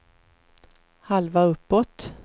halva uppåt